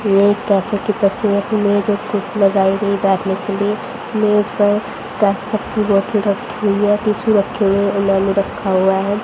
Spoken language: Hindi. ये एक कैफे की तस्वीर है मेज और कुर्सी लगाई गई बैठने के लिए मेज पर की बोतल रखी हुई है टिशू रखे हुए हैं मेनू रखा हुआ है।